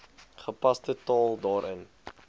gepaste taal daarin